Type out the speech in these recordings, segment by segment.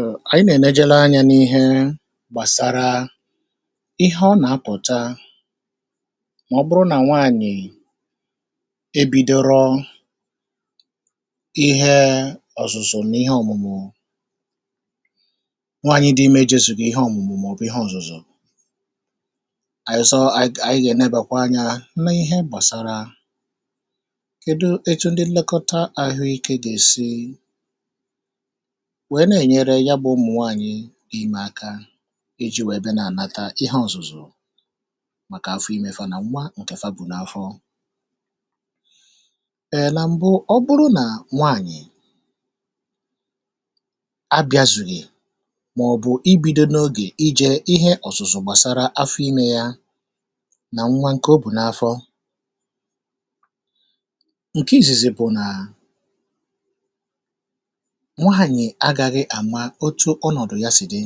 Um Anyị nà ènejelọ anyȧ n'ihe gbàsara ihe ọ nà àpụ̀ta mà ọ bụrụ nà nwaànyị̀ e bido rọ ihe ọ̀zụ̀zụ̀ n'ihe ọ̀mụ̀mụ̀. Nwaànyị dị ime jesù kà ihe ọ̀mụ̀mụ̀ mọ̀bụ̀ ihe ọ̀zụ̀zụ̀, ànyị zọọ ànyị gà ẹ̀nẹbẹkwa anyȧ nà ihe gbàsara kedu etu ndị nlekọta àhụike gà èsi wee na-ènyere ya gbà ụmụ̀ nwaànyị̇ gị ime aka iji̇ wèe bịa na-ànata ihe ọ̀zụ̀zụ̀ màkà afụ imė. Fa na nwa ǹkè fa bụ̀ n'afọ̇ èe na mbụ, ọ bụrụ nà nwaànyị̀ a bịazùghì màọ̀bụ̀ i bido n'ogè ije ihe ọ̀zụ̀zụ̀ gbàsara afụ imė yȧ nà nwa ǹkè o bụ̀ n'afọ̇ ǹke izizi, bụ̀ nà nwaànyị̀ agaghị àmà otu̇ ọnọ̀dụ̀ ya sì dị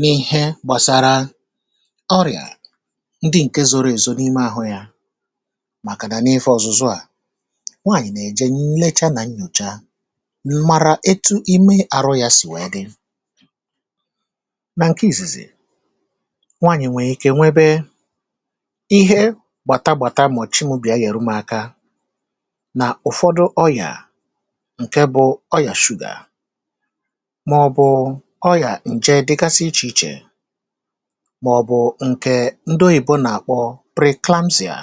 n'ihe gbàsara ọrị̀à ndị ǹke zọrọ èzȯ n'ime àhụ yȧ màkà nà n'ife ọ̀zụ̀zụ. À nwanyị̀ nà-èje nlecha nà nnyòcha nmàrà etu ime àrụ ya sì wee dị nà ǹke ìzìzi. Nwanyị̀ nwèrè ike nwẹbẹ ihe gbàta gbàta màọ̀chị mu bìa nyẹ̀rụ m aka nà ụ̀fọdụ ọyà ǹkẹ bụ ọyà sugar, màọ̀bụ̀ ọyà ǹje dịgasị ichè ichè, màọ̀bụ̀ ǹke ndị oyìbo nàkpọ pre-clamsịà,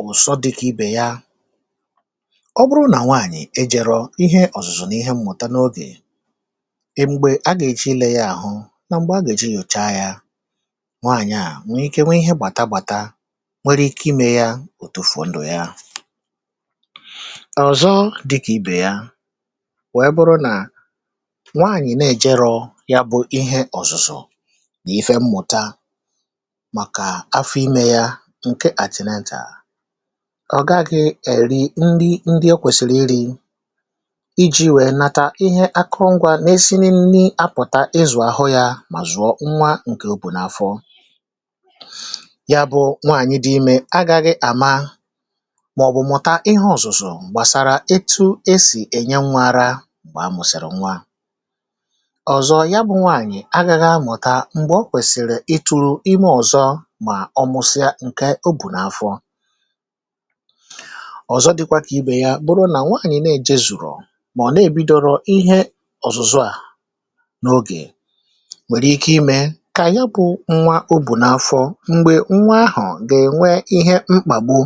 ụ̀sọ dịkà ibè ya. Ọ bụrụ nà nwaànyị̀ ejèrọ ihe ọ̀zụ̀zụ̀ n'ihe mmụ̀ta n'ogè, ị m̀gbè a gà-èji lee ya àhụ nà m̀gbè a gà-èji yòcha ya, nwaànyị̀ a nwee ike nwee ihe gbàta gbàta, nwere ike imė ya òtùfo ndụ̀ ya. Ọ̀zọ dịkà ibè ya wéé bụrụ na nwaànyị nà-èjerọ̇ ya bụ̇ ihe ọ̀zụ̀zụ̀ nà ife mmụ̀ta màkà afọ imė ya ǹke àtịnetà, ọ̀ gaghị̇ èri nri ndị o kwèsìrì iri̇ iji̇ wèe nata ihe akụngwa n'esi nị nni apụ̀ta ịzụ̀ àhụ yȧ mà zụ̀ọ nwa ǹkè o bù n'afọ ya. Bụ̇ nwaànyị dị imė agȧghị̇ àma màọ̀bụ̀ mụ̀ta ihe ọ̀zụ̀zụ̀ gbasara etu esi enye nwa ara mgbe amụsịrị nwa. Ọ̀zọ, ya bụ̇ nwaànyị̀ agaghị amụ̀ta m̀gbè o kwèsìrì ịtụ̇rụ̇ ime ọ̀zọ mà ọ mụsịa ǹke o bù n'afọ. Ọ̀zọ dị̇kwȧ kà ibè ya, bụrụ nà nwaànyị̀ na-èje zụ̀rụ̀ mà ọ̀ na-èbidọrọ ihe ọ̀zụ̀zụ à n'ogè, nwèrè ike imė kà ya bụ̇ nwa o bù n'afọ m̀gbè nwa ahụ̀ gà-ènwe ihe mkpà gbu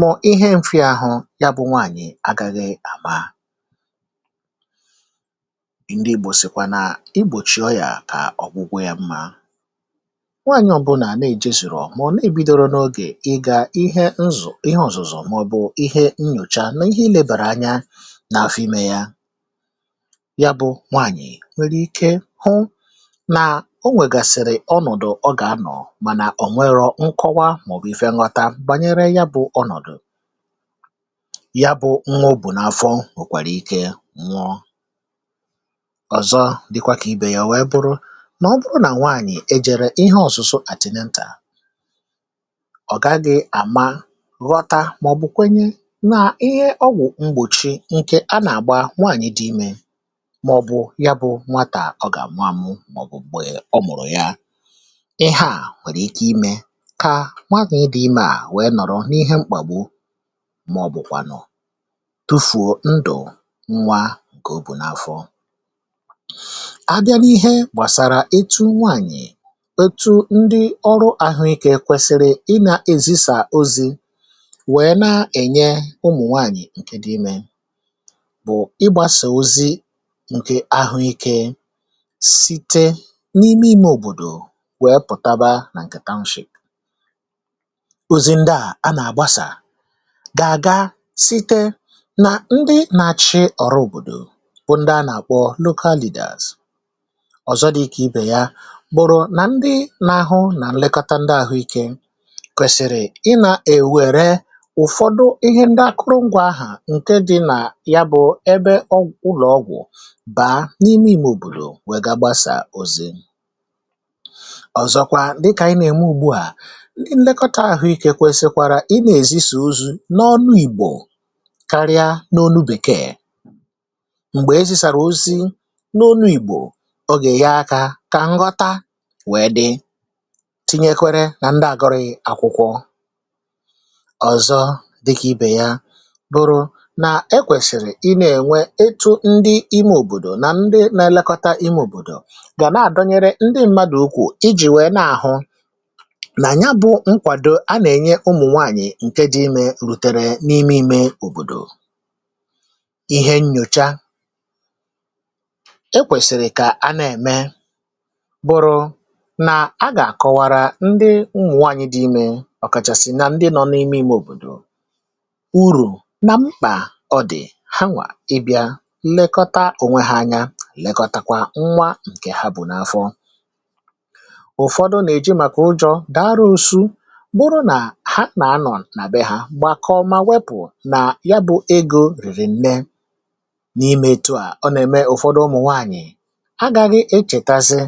mà ihe mfịa ahụ̇ ya. Bụ̇ nwaànyị̀ agaghị àma ndị Igbò sìkwa naa igbòchì ọyìà a, ọ̀gwụgwọ yȧ mmȧ. Nwaànyị̀ ọbụlà nà-èje sìrò ọ̀ mụ̀ọ n'ebidoro n'ogè ị gȧ ihe nzụ̀, ihe ọ̀zọ̀zọ̀, màọ̀bụ̀ ihe nnyòcha nà ihe ilėbàrà anya n'afịme yȧ, ya bụ̇ nwaànyị̀ nwere ike hụ nà o nwègàsị̀rị̀ ọnọ̀dụ̀ ọgà anọ̀, mànà ò nwere nkọwa màọ̀bụ̀ ifė nghọta bànyere ya. Bụ̇ ọnọ̀dụ̀ ya bụ̇ nwaobù n'afọ nwekwara ike nwụọ. Ọ̀zọ dịkwa kà ibè ya o wee bụrụ nà ọ bụrụ nà nwaànyị̀ ejere ihe ọ̀zụ̀sụ àtìnentà, ọ̀gaghị àma, ghọta, màọ̀bụ̀ kwenye nà ihe ọgwụ̀ mgbòchi nkè a nà-àgba nwaànyị dị imė, màọ̀bụ̀ ya bụ̇ nwatà ọ gà àmụ àmụ, maọ̀bụ̀ gbèè ọ mụ̀rụ̀ ya. Ihe à nwèrè ike imė kà nwaànyị dị̇ imė à wee nọ̀rọ n'ihe mkpàgbo màọ̀bụ̀kwànụ̀ tụfuo ndụ nwa nke o bu n'afọ. A bịa n'ihe gbàsàrà etu nwaànyị̀, etu ndị ọrụ àhụikė kwesiri ị nà èzisà ozi̇ wèe na-ènye ụmụ̀ nwaànyị̀ ǹke dị imė, bụ̀ ịgbȧsà ozi ǹkè ahụikė site n'ime imė òbòdò wèe pùtaba nà ǹkè tanshìp. Òzì ndịa a a nà àgbasà gà àga site nà ndị nà chi ọ̀rụ òbòdò, bụ ndị a nà-àkpọ local leaders. Ọ̀zọ dị̇ ike ibè ya, bụrụ nà ndị nȧ-ȧhụ̇ nà nlekọta ndị àhụikė kwèsìrì ị nà-èwère ụ̀fọdụ ihe ndị akụrụ ngwȧ ahà ǹke dị̇ nà ya, bụ̇ ẹbẹ ụlọ̀ ọgwụ̀ bàa n'ime ìmè òbòdò wègà gbasà òze. Ọ̀zọkwa dịkà ànyị nà-ème ugbu à, ndị nlekọta àhụikė kwèsikwara ị nà-èzi sì ozu n'ọnụ ìgbò karịa n'ọnụ bèkee, n'ọnụ ìgbò karịa n'ọnụ bekee. Mgbé ezi sárá ozi n'ọnụ ìgbò, ọ gà-ẹẹ akȧ kà nghọta wèe dị tinyekwere nà ndị àgọrị àkwụkwọ. Ọ̀zọ dịkà ibè ya, bụrụ nà ẹ kwẹ̀sị̀rị̀ ị nẹ̀ẹ̀nwẹ ịtụ̇ ndị ime òbòdò nà ndị nȧ-ẹlẹkọta ime òbòdò, gà nà à donyere ndị mmadụ̀ ụkwụ̀ ijì wèe nà-àhụ nà nya bụ̇ nkwàdò a nà-ẹnyẹ ụmụ̀ nwaànyị̀ ǹke dị̇ imė rùtẹ̀rẹ̀ n'ime ime òbòdò. Ihe nyocha, e kwèsị̀rị̀ kà a nà-ème, bụrụ nà a gà-àkọwara ndị ụmụ̀nwanyị̇ dị imė ọ̀kàchàsị̀ na ndị nọ n'ime ime òbòdò uru na mkpà ọ dị̀ ha nwà ịbịa nlekọta ònwe ha anya, nlekọtakwa nwa ǹkè ha bụ̀ n'afọ. Ụ̀fọdụ nà-èje màkà ụjọ̇ darausu, bụrụ nà ha na ànọ̀ nà be hȧ gbàkọ ma wepù na ya bụ̇ egȯ rìrì nne n'ime. Etúa ọ na-eme ụfọdụ ụmụ nwanyị agȧghị echètazị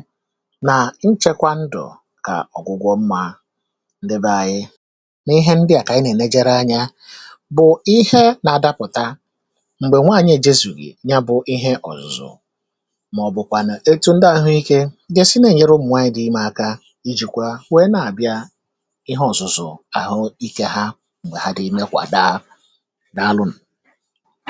nà nchekwa ndụ̀ kà ọ̀gwụgwọ mmȧ. Ndebe anyị n'ihe ndị à kà anyị nà-èlejeri anya, bụ̀ ihe nà-adapụ̀ta ǹgbè nwanyị̀ èjezùghi̇ ya bụ̇ ihe ọ̀zụ̀zụ̀ màọ̀bụ̀kwànụ̀ etu̇ ndị àhụ ike gè si n'ènyere ụmụ̀nwanyị̇ dị imė aka ijìkwa wèe na-àbịa ihe ọ̀zụ̀zụ̀ àhụike ha ǹgwè ha dị ime kwàdaa.